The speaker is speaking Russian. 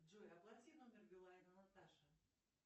джой оплати номер билайна наташа